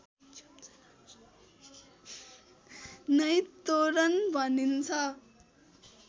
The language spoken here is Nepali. नै तोरण भनिन्छ